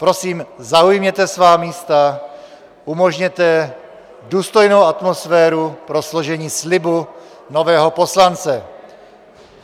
Prosím, zaujměte svá místa, umožněte důstojnou atmosféru pro složení slibu nového poslance.